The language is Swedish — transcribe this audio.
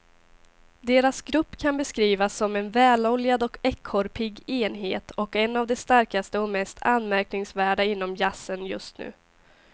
Deras grupp kan beskrivas som en väloljad och ekorrpigg enhet och en av de starkaste och mest anmärkningsvärda inom jazzen just nu.